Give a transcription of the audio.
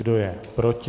Kdo je proti?